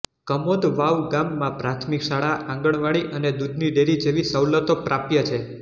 કમોદવાવ ગામમાં પ્રાથમિક શાળા આંગણવાડી અને દૂધની ડેરી જેવી સવલતો પ્રાપ્ય છે